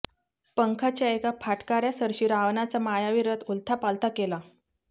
पंखाच्या एका फाटकाऱ्यासरशी रावणाचा मायावी रथ उलथापालथा केला